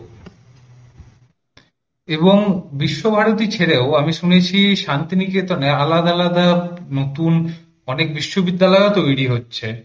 এবং বিশ্বভারতী ছেড়েও আমি শুনেছি, শান্তিনিকেতনে আলাদা আলাদা নতুন অনেক বিশ্ববিদ্যালয় ও তৈরি হচ্ছে।